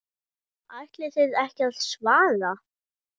Ætlið þið ekki að svara?